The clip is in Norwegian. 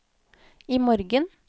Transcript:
imorgen